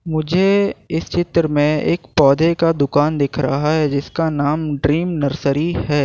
मुझे इस चित्र में एक पौधे का दुकान दिख रहा है जिसका नाम ड्रीम नर्सरी है।